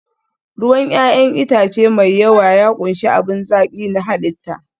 ruwan 'ya'yan itace mai yawa ya ƙunshi abin zaki na halitta